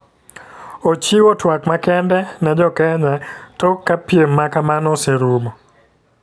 Ochiwo twak makende ne jo Kneya tok jka piem makamano oseruomo.